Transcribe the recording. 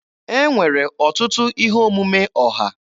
E nwere ọtụtụ ihe omume ọha.